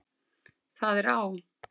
Það er á